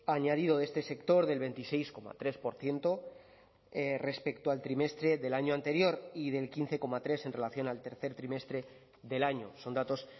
añadido de este sector del veintiséis coma tres por ciento respecto al trimestre del año anterior y del quince coma tres en relación al tercer trimestre del año son datos